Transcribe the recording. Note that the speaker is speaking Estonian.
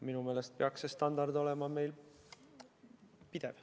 Minu meelest peaks see standard olema meil pidev.